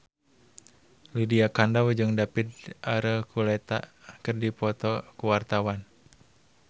Lydia Kandou jeung David Archuletta keur dipoto ku wartawan